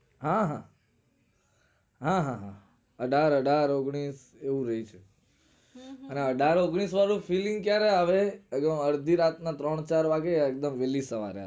હા હા હા હા હા અઢાર અઢાર ઓગણીશ એવું રે છે હમ હમ અઢાર ઓગણીશ વાળું feeling ક્યારે આવે અડધી રાત ના ત્રણ ચાર વાગે એકદમ વેલી સવારે આવે